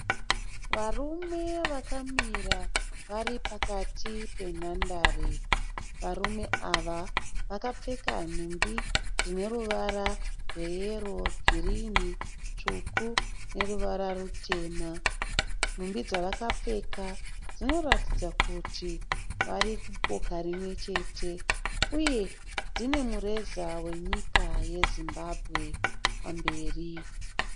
Varume vakamira vari pakati penhandare . Varume ava vakapfeka nhumbi dzine ruvara rweyero, girini, tsvuku neruvara rutema. Nhumbi dzavakapfeka dzoratidza kuti vari kuboka rimwechete uye dzine mureza wenyika yeZimbabwe pamberi.